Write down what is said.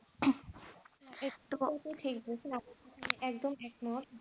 একদম এখন